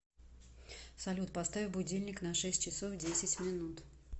салют поставь будильник на шесть часов десять минут